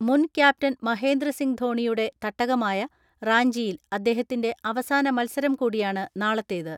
മുൻക്യാപ്റ്റൻ മഹേന്ദ്രസിംഗ് ധോണിയുടെ തട്ടകയമായ റാഞ്ചിയിൽ അദ്ദേഹ ത്തിന്റെ അവസാന മത്സരം കൂടിയാണ് നാളത്തേത്.